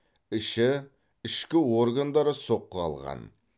іші ішкі органдары соққы алған